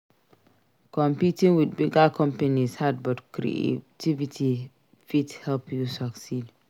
Competing with bigger companies hard but creativity fit help you succeed.